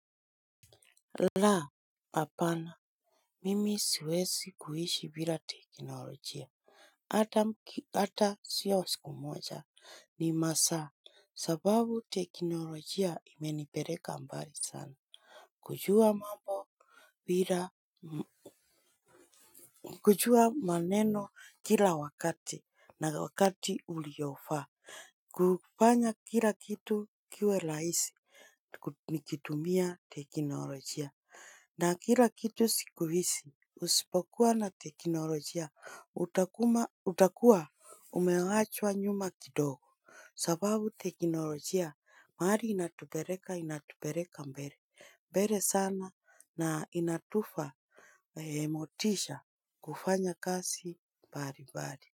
Laa, apana, mimi siwezi kuishi bila teknolojia, ata sio siku moja ni masaa, sababu teknolojia imenipeleka mbali sana. Kujua mambo bila, kujua maneno kila wakati na wakati uliofaa, kufanya kila kitu kiwe rahisi nikitumia teknolojia. Na kila kitu siku hizi usipokuwa na teknolojia utakuwa umeachwa nyuma kidogo sababu teknolojia mahali inatupeleka inatupeleka mbele mbele sana na inatufa motisha kufanya kazi bali bali.